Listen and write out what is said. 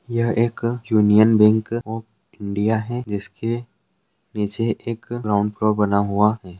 यह एक Union Bank of India है। जिसके निचे एक ग्राउंड फ्लोर बना हुआ है।